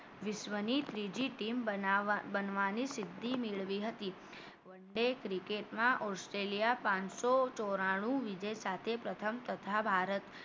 વિશ્વની ત્રીજી team બનાવવાની સિદ્ધિ મેળવી હતી one day cricket માં ઓસ્ટ્રેલિયા પાનસો ચોરાણું વિજય સાથે પ્રથમ તથા ભારત